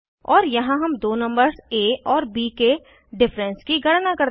और यहाँ हम दो नंबर्स आ और ब के डिफरेंस की गणना करते हैं